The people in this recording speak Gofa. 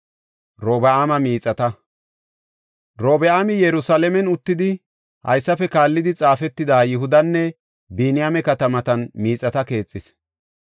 Robi7aami Yerusalaamen uttidi haysafe kaallidi xaafetida Yihudanne Biniyaame katamatan miixata keexis.